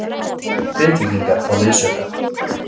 Grindvíkingar fá liðsauka